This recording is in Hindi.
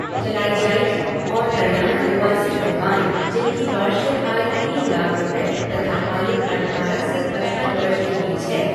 चलाई जाएगी और हरियाणा निवासी विधवाएं जिनकी वार्षिक आय तीन लाख रुपये तथा आयु अठारह से पचपन वर्ष के बीच है,